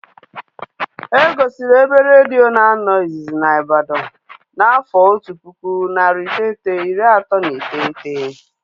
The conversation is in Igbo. E gosiri ebe redio na-anọ izizi na Ibadan n'afọ otu pụkụ, narị iteghete, iri atọ na iteghete